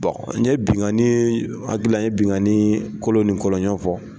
Bɔn n ye binkani n hakili la ni ye binkani kolon ni kɔɔɲɔn fɔ.